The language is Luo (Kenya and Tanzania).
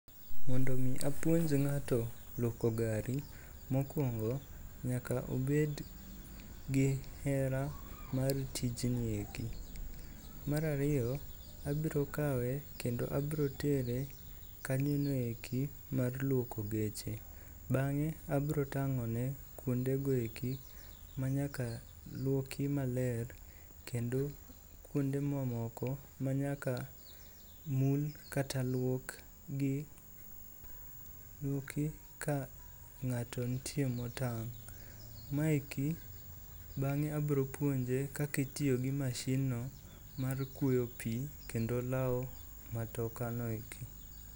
Mondo omi apuonj ng'ato luoko gari, mokuongo nyaka obed gi hera mar tijni eki. Mar ariyo, abro kawe kendo abro tere kanyono eki mar luoko geche. Bang'e abro tang'one kuondego eki manyaka luoki maler kendo kuonde mamoko manyaka mul kata luok ka ng'ato ntie motang'. Bang'e abro puonje kata itiyo gi mashinno mar kuoyo pi kendo lawo matokano eki.